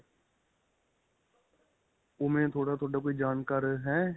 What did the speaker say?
ਉਂਵੇਂ ਤੁਹਾਡਾ ਕੋਈ ਜਾਣਕਾਰ ਹੈ?